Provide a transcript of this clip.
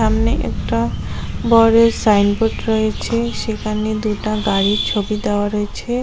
সামনে একটা বড়ের সাইনবোর্ড রয়েছে সেখানে দুটা গাড়ির ছবি দেওয়া রয়েছে।